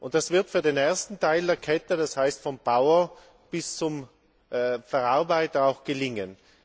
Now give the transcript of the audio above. Das wird für den ersten Teil der Kette das heißt vom Bauern bis zum Verarbeiter auch gelingen.